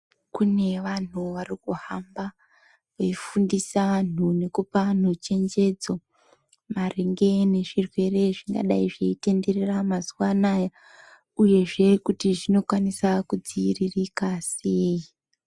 Kune vanhu varikuhamba veifundisa anhu nekupa vanhu chenjedzo maringe nezvirwere zvingadai zveitenderera mazuwa anaya uyezve kuti zvinokwanisa kudziiririka sei.